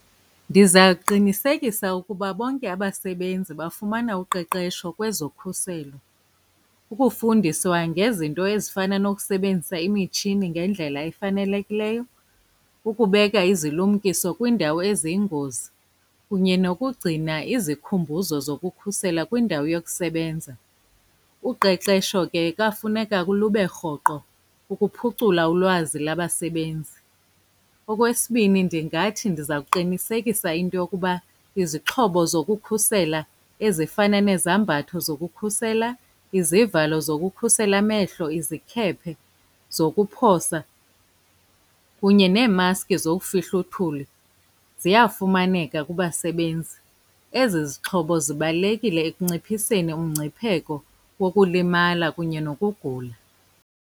Ndiza kuqinisekisa ukuba bonke abasebenzi bafumana uqeqesho kwezokhuselo. Ukufundiswa ngezinto ezifana nokusebenzisa imitshini ngendlela efanelekileyo, ukubeka izilumkiso kwiindawo eziyingozi, kunye nokugcina izikhumbuzo zokukhusela kwindawo yokusebenza. Uqeqesho ke kwafuneka lube rhoqo ukuphucula ulwazi labasebenzi. Okwesibini, ndingathi ndiza kuqinisekisa into yokuba izixhobo zokukhusela ezifana nezambatho zokukhusela, izivalo zokukhusela amehlo, izikhephe zokuphosa, kunye neemaski zowufihla uthuli ziyafumaneka kubasebenzi. Ezi zixhobo zibalulekile ekunciphiseni umngcipheko wokulimala kunye nokugula.